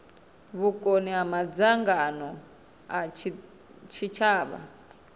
vhukoni ha madzangano a tshitshavha